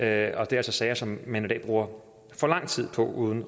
er altså sager som man i dag bruger for lang tid på uden